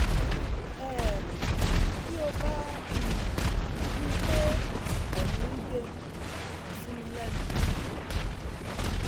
um bí ó bá ń um rí i pé ẹ̀mìí ń gbẹ kàn sí mi lẹ́nu